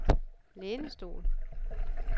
lænestol